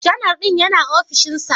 Janar din yana ofishinsa?